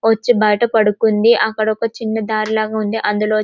వచ్చి బైట పడుకుంది అక్కడ ఒక చిన్న దారిలాగా ఉంది అందులో --